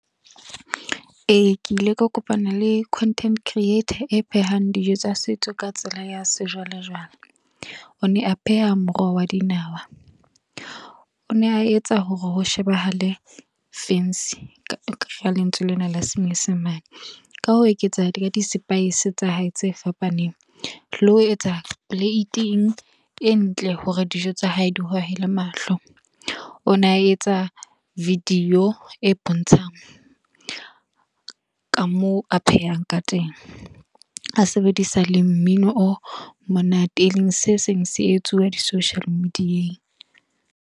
Ee, ke ile ka kopana le content creator, e phehang dijo tsa setso ka tsela ya se jwale jwale. O ne a pheha moroho wa dinawa. O ne a etsa hore ho shebahale fancy, ka lentswe lena la senyesemane. Ka ho eketsa ka di-spice tsa hae tse fapaneng. Le ho etsa plate-eng e ntle hore dijo tsa hae di hohele mahlo. O na etsa video e bontshang, ka moo a phehang ka teng. A sebedisa le mmino o monate, e leng se seng se etsuwang di-social media-eng.